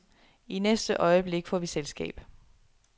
I næste øjeblik får vi selskab.